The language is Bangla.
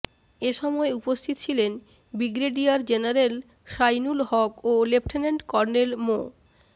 এসময় উপস্থিত ছিলেন বিগ্রেডিয়ার জেনারেল শাইনুল হক ও লেফটেন্যান্ট কর্নেল মো